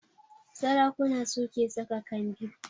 Sarakuna su ke saka kambi